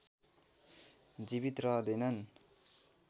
जीवित रहँदैनन्